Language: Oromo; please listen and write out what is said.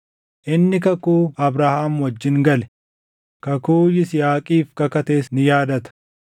inni kakuu Abrahaam wajjin gale, kakuu Yisihaaqiif kakates ni yaadata.